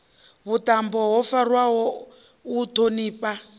vhuṱambo ho farwaho u ṱhonifha